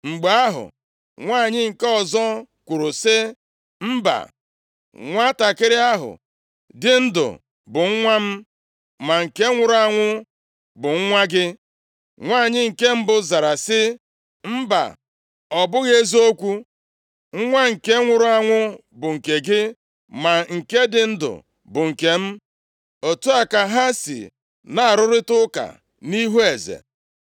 Mgbe ahụ, nwanyị nke ọzọ kwuru sị, “Mba, nwantakịrị ahụ dị ndụ bụ nwa m, ma nke nwụrụ anwụ bụ nwa gị.” Nwanyị nke mbụ zara sị, “Mba, ọ bụghị eziokwu; nwa nke nwụrụ anwụ bụ nke gị, ma nke dị ndụ bụ nke m.” Otu a ka ha si na-arụrịta ụka nʼihu eze.